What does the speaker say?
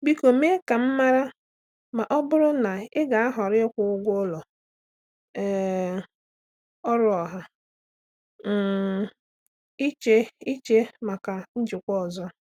Biko mee ka m mara ma ọ bụrụ na ị ga-ahọrọ ịkwụ ụgwọ ụlọ um ọrụ ọha um iche iche maka njikwa ọzọ.